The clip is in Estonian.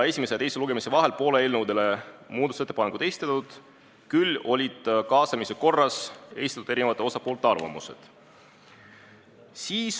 Esimese ja teise lugemise vahel ei ole eelnõude kohta muudatusettepanekuid esitatud, küll aga saadi kaasamise korras eri osapoolte arvamused.